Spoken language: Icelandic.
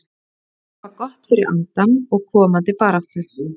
Þetta var gott fyrir andann og komandi baráttu.